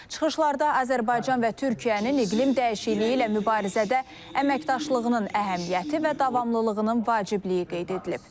Çıxışlarda Azərbaycan və Türkiyənin iqlim dəyişikliyi ilə mübarizədə əməkdaşlığının əhəmiyyəti və davamlılığının vacibliyi qeyd edilib.